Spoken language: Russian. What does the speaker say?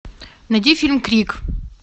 найди фильм крик